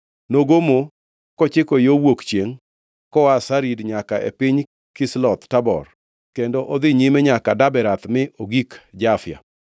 Nogomo kochiko yo wuok chiengʼ koa Sarid nyaka e piny Kisloth Tabor kendo odhi nyime nyaka Daberath mi ogik Jafia.